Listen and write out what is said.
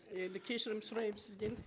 енді кешірім сұраймын сізден